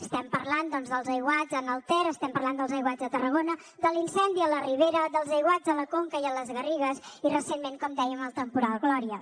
estem parlant dels aiguats en el ter estem parlant dels aiguats a tarragona de l’incendi a la ribera dels aiguats a la conca i a les garrigues i recentment com dèiem el temporal gloria